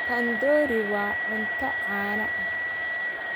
Tandoori waa cunto caan ah.